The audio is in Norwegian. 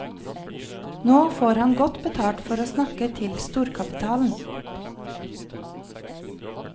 Nå får han godt betalt for å snakke til storkapitalen.